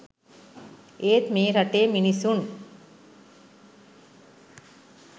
ඒත් මේ රටේ මිනිසුන්